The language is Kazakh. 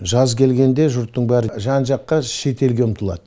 жаз келгенде жұрттың бәрі жан жаққа шетелге ұмтылады